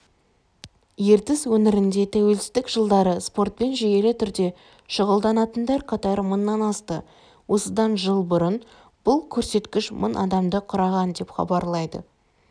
ертіс өңірінде тәуелсіздік жылдары спортпен жүйелі түрде шұғылданатындар қатары мыңнан асты осыдан жыл бұрын бұл көрсеткіш мың адамды құраған деп хабарлайды